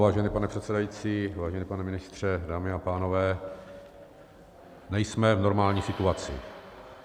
Vážený pane předsedající, vážený pane ministře, dámy a pánové, nejsme v normální situaci.